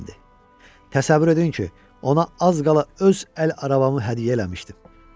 Təsəvvür edin ki, ona az qala öz əl arabamı hədiyyə eləmişdim.